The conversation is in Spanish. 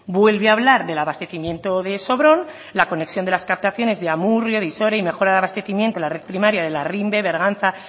vuelve a hablar del abastecimiento de sobrón la conexión de las captaciones de amurrio izore y mejora de abastecimiento la red primaria de larrinbe berganza